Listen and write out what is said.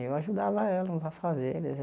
Eu ajudava ela nos afazeres.